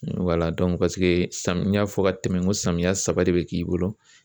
sami n y'a fɔ ka tɛmɛ n ko samiya saba de bɛ k'i bolo.